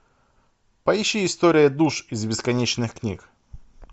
поищи история душ из бесконечных книг